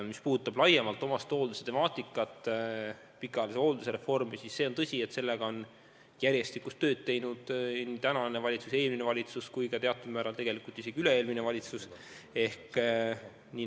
Mis puudutab laiemalt omastehoolduse temaatikat, pikaajalise hoolduse reformi, siis on tõsi, et sellega on pidevalt tööd teinud nii tänane valitsus, eelmine valitsus kui teatud määral ka üle-eelmine valitsus.